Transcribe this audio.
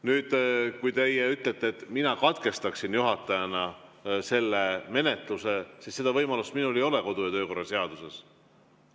Nüüd, kui teie ütlete, et mina katkestama juhatajana selle menetluse, siis seda võimalust minul kodu‑ ja töökorra seaduse järgi ei ole.